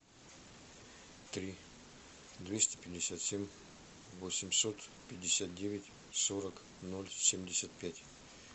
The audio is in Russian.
три двести пятьдесят семь восемьсот пятьдесят девять сорок ноль семьдесят пять